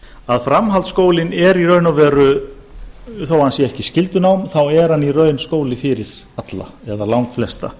að framhaldsskólinn er í raun og veru þó hann sé ekki skyldunám þá er hann í raun skóli fyrir alla eða langflesta